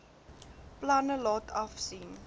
planne laat afsien